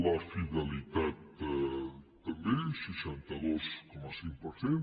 la fidelitat també seixanta dos coma cinc per cent